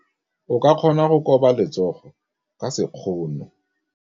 O ka kgona go koba letsogo ka sekgono.